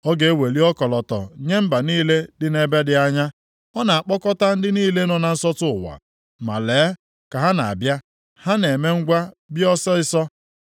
Ọ ga-eweli ọkọlọtọ nye mba niile dị nʼebe dị anya, ọ na-akpọkọta ndị niile nọ na nsọtụ ụwa. Ma lee, ka ha na-abịa, ha na-eme ngwa bịa ọsịịsọ. + 5:26 Ndị bịara buo agha a bụ ndị agha mba Asịrịa.